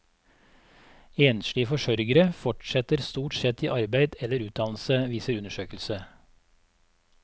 Enslige forsørgere fortsetter stort sett i arbeid eller utdannelse, viser undersøkelse.